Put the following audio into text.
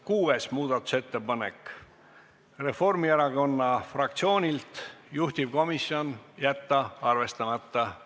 Kuues muudatusettepanek Reformierakonna fraktsioonilt, juhtivkomisjon: jätta arvestamata.